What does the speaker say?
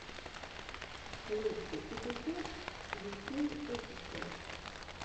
лучший эпизод висин офишел